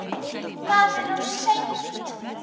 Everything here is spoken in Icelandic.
Það er of seint.